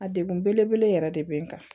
A degun belebele yɛrɛ de bɛ n kan